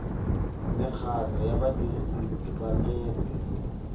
mekgatlho ya badirisi ba metsi